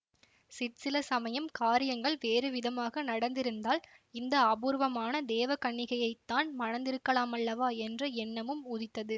சிற்சில சமயம் காரியங்கள் வேறு விதமாக நடந்திருந்தால் இந்த அபூர்வமான தேவகன்னிகையைத் தான் மணந்திருக்கலாமல்லவா என்ற எண்ணமும் உதித்தது